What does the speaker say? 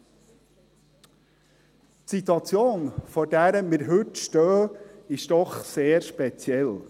Die Situation, vor der wir heute stehen, ist doch sehr speziell.